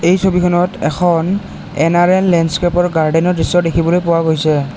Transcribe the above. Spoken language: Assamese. এই ছবিখনত এখন এন_আৰ_এল লেণ্ডস্কেপ ৰ গাৰ্ডেন ৰ দৃশ্য দেখিবলৈ পোৱা গৈছে।